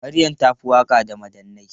Maryam ta fi waka da madannai.